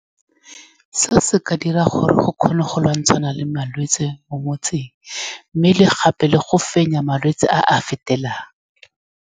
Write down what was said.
Se se ka dirang gore go kgone go lwantshana le malwetse mo motseng, mme le gape le go fenya malwetse a a fetelang.